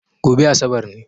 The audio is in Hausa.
Gobe Asabar ne